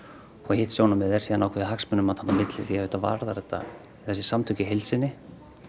hitt sjónarmiðið er svo ákveðið hagsmunamat þarna á milli því að auðvitað varðar þetta þessi samtök í heild sinni